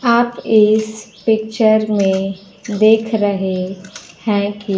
आप इस पिक्चर में देख रहे हैं कि --